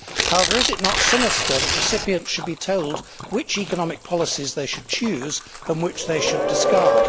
However, is it not sinister that recipients should be told which economic policies they should choose and which they should discard?